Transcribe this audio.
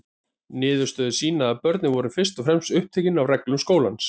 Niðurstöður sýna að börnin voru fyrst og fremst upptekin af reglum skólans.